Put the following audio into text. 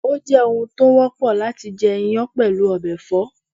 Ó jẹ́ oun tó wọ́pọ̀ láti jẹ iyán pẹ̀lú ọbẹ̀ ẹ̀fọ́